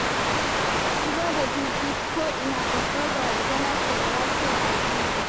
Zubar da juji ko'ina babbar barazana ce ga lafiyar al'umma.